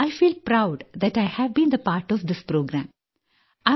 E feel proud that I have been the part of this programme